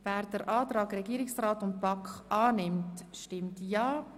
Wer den Antrag Regierungsrat und BaK annehmen will, stimmt Ja,